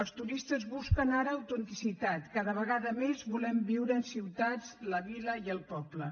els turistes busquen ara autenticitat cada vegada més volem viure en ciutats la vila i el poble